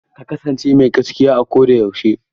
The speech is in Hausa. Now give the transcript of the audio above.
Ka kasance mai gaskiya a ko da yaushe!